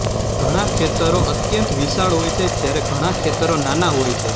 ઘણાં ખેતરો અત્યંત વિશાળ હોય છે જ્યારે ઘણાં ખેતરો નાનાં હોય છે